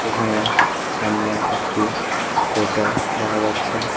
এখানে সামনে একটি হোটেল দেখা যাচ্ছে।